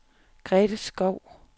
Grete Skou